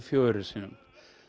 fjögur sinnum